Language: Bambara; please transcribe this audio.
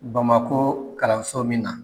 Bamakɔ kalanso min na.